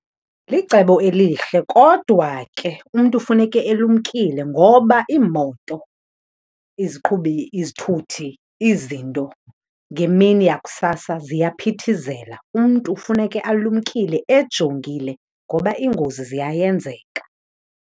Licebo elihle kodwa ke umntu funeke elumkile ngoba iimoto, izithuthi izinto ngemini yakusasa ziyaphithizela. Umntu funeke alumkile ejongile ngoba iingozi ziyayenzeka.